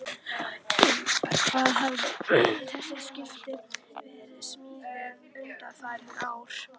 Ingimar: Hvar hafa þessi skip verið smíðuð undanfarin ár?